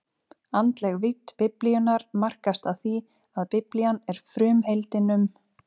Andleg vídd Biblíunnar markast af því, að Biblían er frumheimildin um